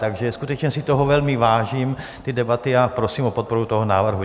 Takže skutečně si toho velmi vážím, té debaty, a prosím o podporu toho návrhu.